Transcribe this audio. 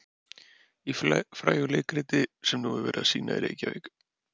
Í frægu leikriti sem nú er verið að sýna í Reykjavík.